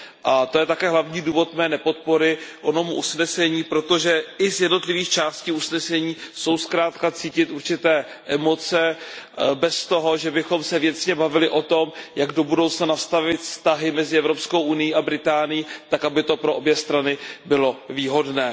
A to je také hlavní důvod mé nepodpory tohoto usnesení, protože i z jednotlivých částí usnesení jsou zkrátka cítit určité emoce bez toho, že bychom se věcně bavili o tom, jak do budoucna nastavit vztahy mezi Evropskou unií a Británií tak, aby to pro obě strany bylo výhodné.